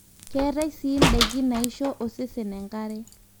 keetae sii indaiki naisho osesen enkare